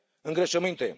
de îngrășăminte.